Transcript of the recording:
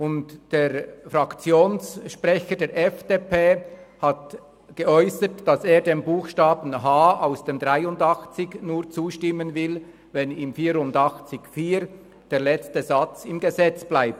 Zudem hat der Fraktionssprecher der FDP geäussert, dass er dem Buchstaben h des Artikels 83 nur zustimmen will, wenn in Artikel 84 Absatz 4 der letzte Satz im Gesetz bleibt.